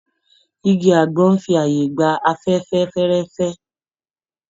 Igi àgbọn n fi ààyè gba afẹ́fẹ́ fẹ́ẹ́rẹ́fẹ́.